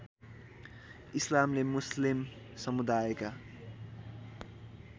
इस्लामले मुस्लिम समुदायका